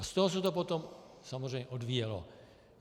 A z toho se to potom samozřejmě odvíjelo.